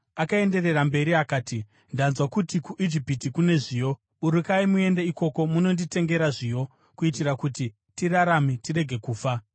Akaenderera mberi akati, “Ndanzwa kuti kuIjipiti kune zviyo. Burukai muende ikoko mundotitengera zviyo, kuitira kuti tirarame tirege kufa.”